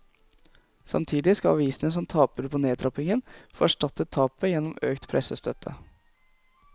Samtidig skal avisene som taper på nedtrappingen, få erstattet tapet gjennom økt pressestøtte.